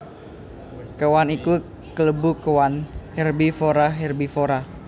Kéwan iku kalebu kéwan hérbivorahérbivora